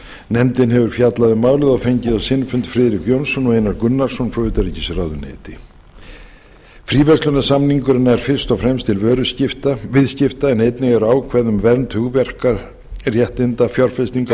nefndin hefur fjallað um málið og fengið á sinn fund friðrik jónsson og einar gunnarsson frá utanríkisráðuneyti fríverslunarsamningurinn er fyrst og fremst til vöruviðskipta en einnig eru ákvæði um vernd hugverkaréttinda fjárfestingar